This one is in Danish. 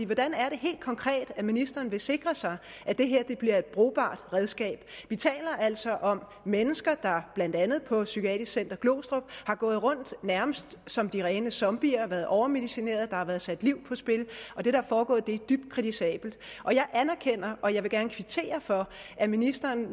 hvordan er det helt konkret at ministeren vil sikre sig at det her bliver et brugbart redskab vi taler altså om mennesker der blandt andet på psykiatrisk center glostrup har gået rundt nærmest som de rene zombier de har været overmedicineret og der har været sat liv på spil og det der er foregået er dybt kritisabelt jeg anerkender og jeg vil gerne kvittere for at ministeren